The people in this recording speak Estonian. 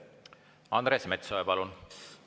Andres Metsoja, palun!